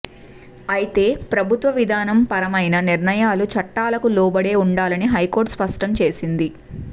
అయితే ప్రభుత్వ విధాన పరమైన నిర్ణయాలు చట్టాలకు లోబడే ఉండాలని హైకోర్టు స్పష్టం చేసింది